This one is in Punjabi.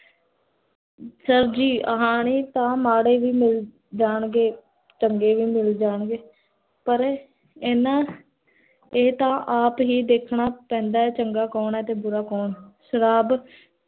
sir ਜੀ ਹਾਨੀ ਤਾਂ ਮਾੜੇ ਮਿਲ੍ਜਾਂਗੇ, ਚੰਗੇ ਵੀ ਮਿਲ੍ਜਾਂਗੇ, ਪਰ ਇੰਨਾ, ਇਹ ਤਾਂ ਆਪ ਹੀ ਦੇਖਣਾ ਪੈਂਦਾ ਹੈ, ਚੰਗਾ ਕੋੰ ਹੈ ਤੇ ਬੁਰਾ ਕੋਣ ਸ਼ਰਾਬ